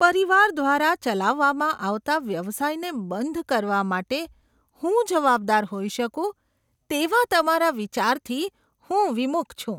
પરિવાર દ્વારા ચલાવવામાં આવતા વ્યવસાયને બંધ કરવા માટે હું જવાબદાર હોઈ શકું તેવા તમારા વિચારથી હું વિમુખ છું.